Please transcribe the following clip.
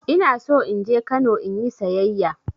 Ina so in je Kano in yi sayayya.